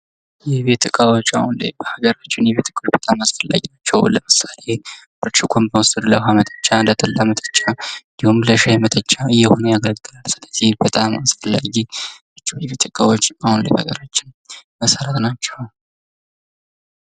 የእቤት እቃወች በሀገራችን አሁን ላይ አሁን ለምሳሌ ብርጭቆው ለዉሃ መጠጫ ነጠላ መጠጫ እንዲሁም ለሻይ መጠጫ እየሆነ ያገለግላል ስለዚህ በጣም አስፈላጊ ናቸው የቤት እቃወች አሁን ላይ በሀገራችን መሰረት ናቸው።